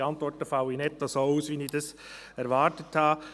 Die Antworten fallen nicht so aus, wie ich dies erwartet habe.